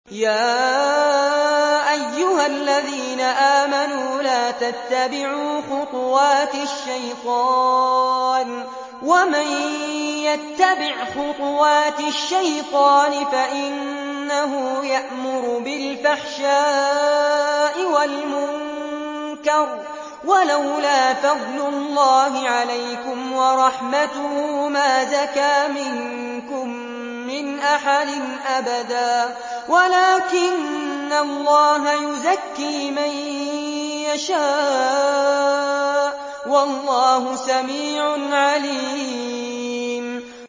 ۞ يَا أَيُّهَا الَّذِينَ آمَنُوا لَا تَتَّبِعُوا خُطُوَاتِ الشَّيْطَانِ ۚ وَمَن يَتَّبِعْ خُطُوَاتِ الشَّيْطَانِ فَإِنَّهُ يَأْمُرُ بِالْفَحْشَاءِ وَالْمُنكَرِ ۚ وَلَوْلَا فَضْلُ اللَّهِ عَلَيْكُمْ وَرَحْمَتُهُ مَا زَكَىٰ مِنكُم مِّنْ أَحَدٍ أَبَدًا وَلَٰكِنَّ اللَّهَ يُزَكِّي مَن يَشَاءُ ۗ وَاللَّهُ سَمِيعٌ عَلِيمٌ